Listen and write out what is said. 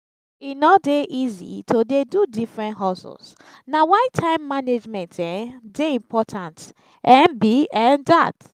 e no dey easy to dey do different hustles; na why time management um dey important um be um dat.